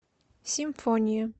симфония